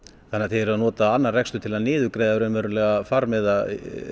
þannig að þið eruð að nota annan rekstur til að niðurgreiða farmiða